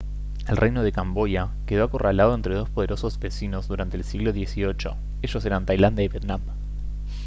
el reino de camboya quedó acorralado entre dos poderosos vecinos durante el siglo xviii ellos eran tailandia y vietnam